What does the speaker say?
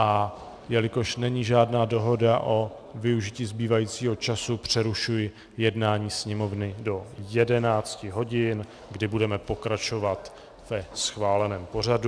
A jelikož není žádná dohoda o využití zbývajícího času, přerušuji jednání Sněmovny do 11 hodin, kdy budeme pokračovat ve schváleném pořadu.